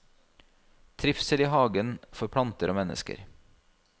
Trivsel i hagen for planter og mennesker.